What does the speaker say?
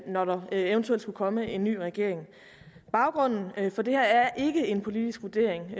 når der eventuelt skulle komme en ny regering baggrunden for det her er ikke en politisk vurdering